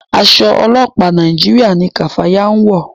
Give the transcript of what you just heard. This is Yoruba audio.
Aṣọ ọlọpa Nàìjíríà ní kafaya ń wọ.